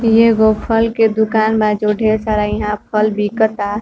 ई एगो फल के दुकान बा जो ढेर सारा इहाँ फल बिकता।